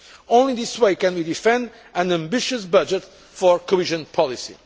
effective. Only in this way can we defend an ambitious budget for cohesion